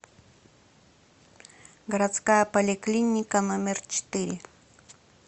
городская поликлиника номер четыре